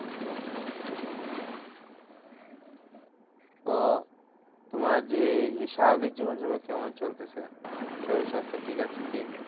তো তোমার যে স্বাভাবিক জীবনযাপন কেমন চলতেছে? শরীর স্বাস্থ ঠিক আছে কি?